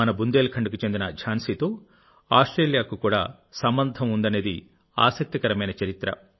మన బుందేల్ఖండ్కు చెందిన ఝాన్సీతో ఆస్ట్రేలియాకు కూడా సంబంధం ఉందనేది ఆసక్తికరమైన చరిత్ర